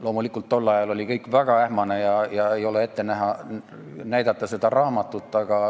Loomulikult oli tol ajal kõik väga ähmane ja mul ei ole seda raamatut ette näidata.